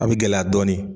A bɛ gɛlɛya dɔɔnin